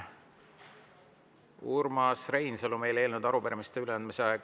Urmas Reinsalu, meil on eelnõude ja arupärimiste üleandmise aeg läbi.